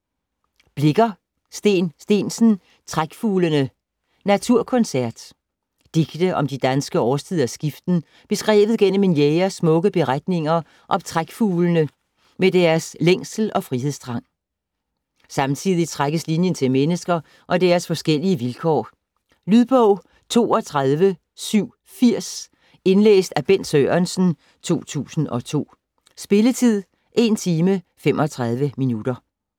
Blicher, Steen Steensen: Trækfuglene: naturconcert Digte om de danske årstiders skiften beskrevet gennem en jægers smukke betragtninger af trækfuglene med deres længsel og frihedstrang. Samtidig trækkes linjen til mennesker og deres forskellige vilkår. Lydbog 32780 Indlæst af Bent Sørensen, 2002. Spilletid: 1 timer, 35 minutter.